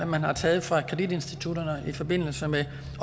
man har taget fra kreditinstitutterne i forbindelse med